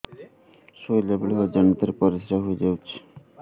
ଶୋଇଲା ବେଳେ ଅଜାଣତ ରେ ପରିସ୍ରା ହେଇଯାଉଛି